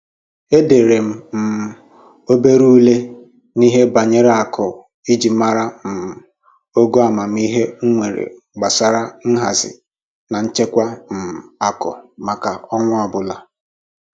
Edere m um obere ule n'ihe banyere akụ iji mara um ogo amamihe m nwere gbasara nhazi na nchekwa um akụ maka ọnwa ọbụla